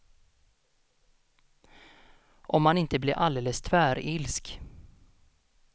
Om man inte blir alldeles tvärilsk.